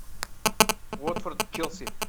уотфорд челси